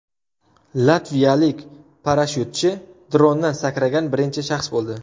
Latviyalik parashyutchi drondan sakragan birinchi shaxs bo‘ldi .